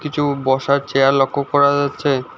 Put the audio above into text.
কিছু বসার চেয়ার লক্ষ করা যাচ্ছে।